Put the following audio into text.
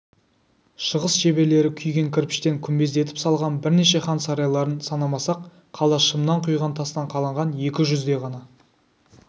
шығыс шеберлері күйген кірпіштен күмбездетіп салған бірнеше хан сарайларын санамасақ қала шымнан құйған тастан қаланған екі жүздей ғана